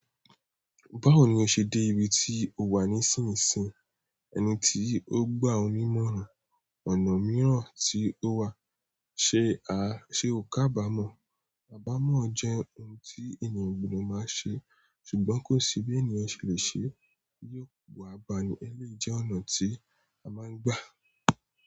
Báwo ni o ṣe dé ibi tí o wà nísinsìn ẹni tí ó gbà o nimọ́ran, ọ̀nà mìíràn tí ó wà, ṣe a, ṣe o kàbàámọ̀? Abàámọ̀ jẹ́ ohun tí ènìyàn o gbodo máa ṣe, ṣùgbọ́n kó si bí ènìyàn ṣe lè ṣe, yóò bu abà ni ẹlẹ́yi jẹ́ ọ̀nà tí a máa ń gbà.